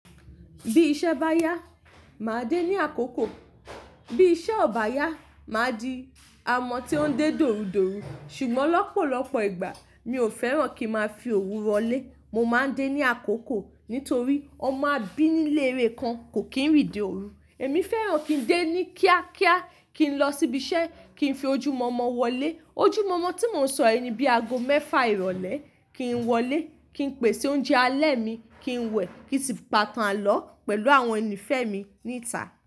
Bí iṣẹ́ bá yá, màá dé ní àkókò. Bí iṣẹ́ ò bá yá, màá di amọ́ tí ó ń dé dorudoru Ṣùgbọ́n lọ́pọ̀lọpọ̀ ìgbà mi ò fẹ́ràn kí máa fi oru wọlé. Mo máa ń dé ní àkókò nítorí ọmọ abínilére kan kò kí ń rìnde ooru. Èmi fẹ́ràn kí n dé ní kíákíá, kí n lọ síbi iṣẹ́, kí n fi ojúmọ̀ọ̀mọ̀ wọlé. Ojúmọ̀ọ̀mọ̀ tí mò ń sọ yii ni bí aago mẹ́fà ìrọ̀lẹ́ kì n wọlé. Kí n pèsè oúnjẹ alẹ́ mi, kí n wẹ̀, kí sì pa itán alọ pẹ̀lú àwọn ẹni fẹ́ mi níta.